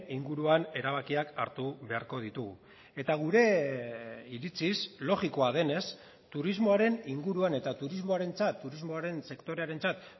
inguruan erabakiak hartu beharko ditugu eta gure iritziz logikoa denez turismoaren inguruan eta turismoarentzat turismoaren sektorearentzat